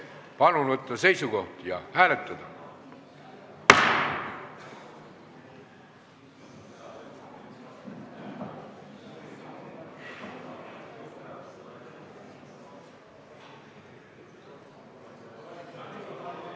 Palun võtta seisukoht ja hääletada!